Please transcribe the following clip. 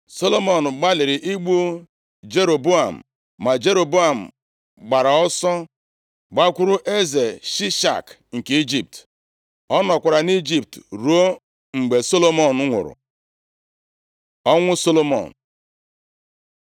Solomọn gbalịrị igbu Jeroboam, ma Jeroboam gbaara ọsọ gbakwuru eze Shishak nke Ijipt. + 11:40 Eze Shishak, bụ Fero mbụ chịrị Ijipt na senchuri nke iri. Mgbe ọchịchị pụrụ site nʼaka ezinaụlọ a, ahọpụtara onye ọzọ ga-achị \+xt 1Ez 14:25-26; 2Ih 12:2-9\+xt* Ọ nọkwara nʼIjipt ruo mgbe Solomọn nwụrụ. Ọnwụ Solomọn